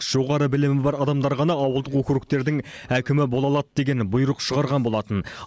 жоғары білімі бар адамдар ғана ауылдық округтердің әкімі бола алады деген бұйрық шығарған болатын